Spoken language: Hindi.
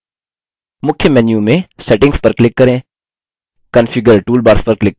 मुख्य menu में settings पर click करें configure toolbars पर click करें